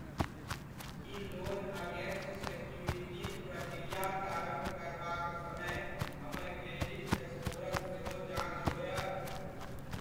की loan against securities प्रक्रिया प्रारम्भ करबाक समय हमर क्रेडिट स्कोरक सेहो जाँच होयत ?